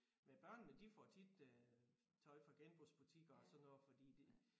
Men børnene de får tit øh tøj fra genbrugsbutikker og sådan noget fordi de